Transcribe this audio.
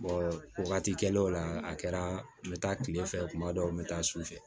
wagati kɛlen o la a kɛra n bɛ taa kile fɛ kuma dɔw n bɛ taa su fɛ